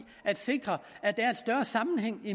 at sikre at der er en større sammenhæng